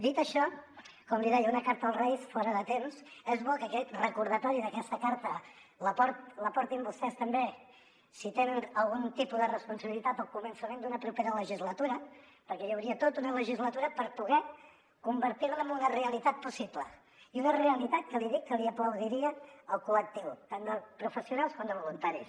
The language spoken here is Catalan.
dit això com li deia una carta als reis fora de temps és bo que aquest recordatori d’aquesta carta la portin vostès també si tenen algun tipus de responsabilitat al començament d’una propera legislatura perquè hi hauria tota una legislatura per poder convertir la en una realitat possible i una realitat que li dic que li aplaudiria el col·lectiu tant de professionals com de voluntaris